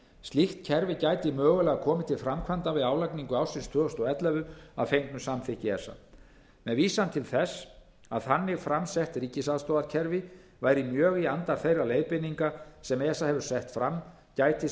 slíkt kerfi gæti mögulega komið til framkvæmda við álagningu ársins tvö þúsund og ellefu að fengnu samþykki esa með vísan til þess að þannig fram sett ríkisaðstoðarkerfi væri mjög í anda þeirra leiðbeininga sem esa hefur sett fram gæti